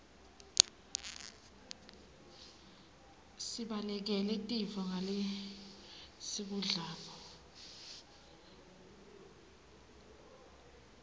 sibalekele tifo ngalesikudlako